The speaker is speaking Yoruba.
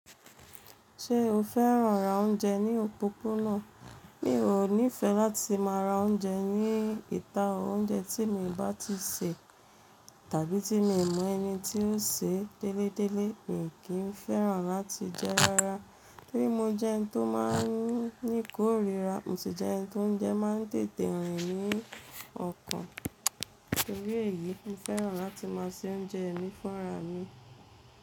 Ṣé o fẹ́ràn ra oúnjẹ ní òpópónà? Mi ò nífẹẹ láti máa ra oúnjẹ ní ìta, oúnjẹ tí mi ò bá ti sè tàbí tí mi mọ ẹni tí ń sè déledélé, mi kì í fẹ́ràn láti jẹ ara. Torí mo jẹ ẹni tó máa ń ní kórira, mo sì jẹ́ ẹni to ońjẹ má ń tètè rìn ní ọkàn. Torí èyí, mo fẹ́ràn láti máa se oúnjẹ mi fúnra mi.